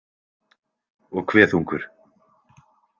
Og hve þungur?